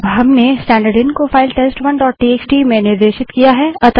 अब हम स्टैन्डर्डइन को फाइल टेस्ट1 डोट टीएक्सटी में निर्देशित करते हैं